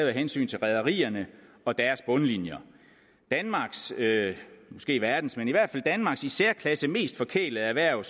af hensyn til rederierne og deres bundlinjer danmarks måske verdens men i hvert fald danmarks i særklasse mest forkælede erhverv